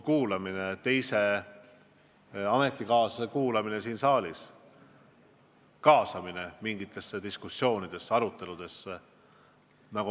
Ka teise ametikaaslase kuulamine siin saalis, kaasamine mingitesse diskussioonidesse, aruteludesse.